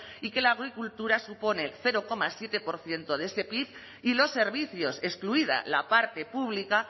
y que la agricultura supone cero coma siete por ciento de este pib y los servicios excluida la parte pública